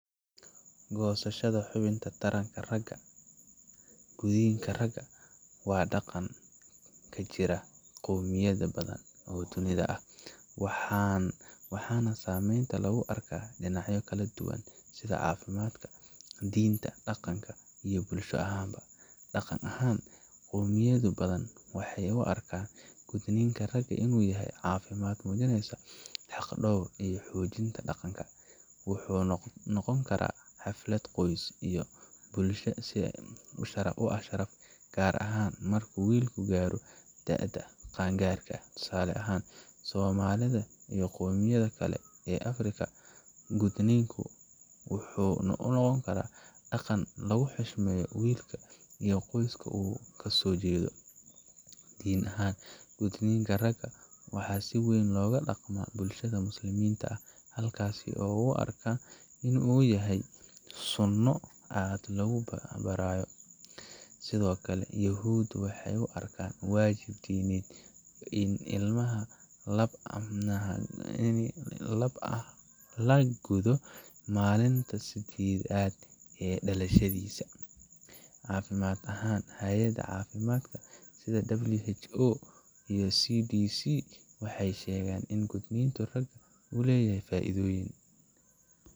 Goosashada xubinta taranka ragga gudniinka raga waa dhaqan ka jira qowmiyado badan oo dunida ah, waxaana saameyntiisa lagu arkaa dhinacyo kala duwan sida caafimaadka, diinta, dhaqanka, iyo bulsho ahaanba. Dhaqan ahaan, qowmiyado badan waxay u arkaan gudniinka raga inuu yahay calaamad muujinaysa xaq dhawr iyo xoojinta dhaqanka. Wuxuu noqon karaa xaflad qoyska iyo bulshada u ah sharaf, gaar ahaan marka wiilku gaaro da’da qaan gaarka. Tusaale ahaan, Soomaalida iyo qowmiyado kale oo Afrika ah, gudniinku wuxuu noqon karaa dhaqan lagu xushmeeyo wiilka iyo qoyska uu ka soo jeedo. Diin ahaan, gudniinka raga waxaa si weyn loogu dhaqmaa bulshada Muslimiinta, halkaas oo loo arko inuu yahay sunno aad loogu booriyo. Sidoo kale, Yuhuudda waxay u arkaan waajib diimeed in ilmaha lab ah la guddo maalinta sideedad ee dhalashadiisa. Caafimaad ahaan, hay’adaha caafimaadka sida WHO iyo CDC waxay sheegaan in gudniinka raga uu leeyahay faa’iidooyin